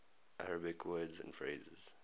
arabic words and phrases